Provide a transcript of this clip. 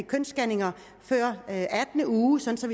kønsscanninger før attende uge sådan